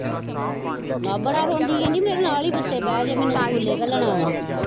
ਆਹ ਬੜਾ ਰੋਂਦੀ ਕਹਿੰਦੀ ਮੇਰੇ ਨਾਲ ਹੀ ਬੱਸੇ ਬਹਿ ਜੇ ਮੈਨੂੰ ਸਕੂਲੇ ਘੱਲਣਾ ਵਾਂ।